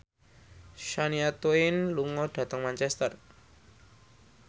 Shania Twain lunga dhateng Manchester